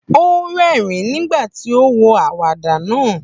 Ó rẹ́rìn-ín nígbà tí ó wo àwàdà náà.